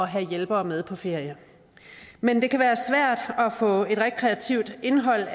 have hjælpere med på ferie men det kan være svært at få et rekreativt indhold